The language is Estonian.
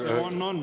On, on.